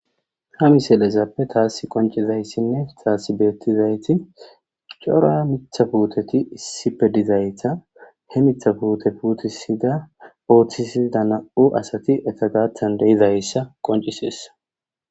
Ha miselezappe taasi qoncizayssinne taassi beettizayti cora mithapuuteti issipe dizayta he mithapuute puutisida ooththisida na7u asati eta gaatan deizayssa qonciseessa